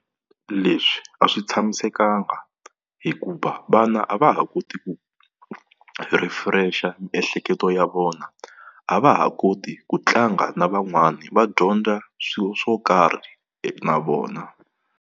Leswi a swi tshamisekanga hikuva vana a va ha koti ku refresh-a miehleketo ya vona, a va ha koti ku tlanga na van'wana va dyondza swilo swo karhi na vona.